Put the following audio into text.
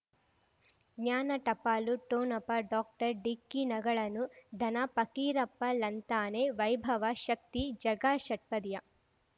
ಜ್ಞಾನ ಟಪಾಲು ಠೊಣಪ ಡಾಕ್ಟರ್ ಢಿಕ್ಕಿ ಣಗಳನು ಧನ ಫಕೀರಪ್ಪ ಳಂತಾನೆ ವೈಭವ ಶಕ್ತಿ ಝಗಾ ಷಟ್ಪದಿಯ